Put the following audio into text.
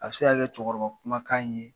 A bɛ se ka kɛ cɛkɔrɔba kumakan in ye.